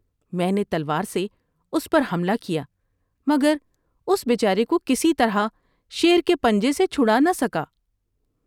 میں نے تلوار سے اس پر حملہ کیا مگر اس بے چارے کو کسی طرح شیر کے پنجے سے چھڑانہ سکا ۔